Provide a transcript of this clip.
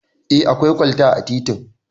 Eh akwai kwalta a titin